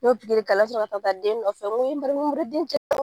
N y'o k'a la ka sɔrɔ ka taa den nɔfɛ n ko e MARIYAMU den